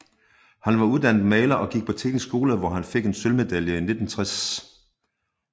Han var uddannet maler og gik på Teknisk skole hvor han fik sølvmedalje i 1960